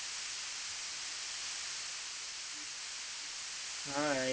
આમાં તમને એક extra મડસે family connection.